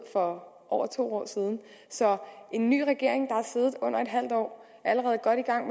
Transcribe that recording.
for over to år siden en ny regering i under et halvt år er allerede godt i gang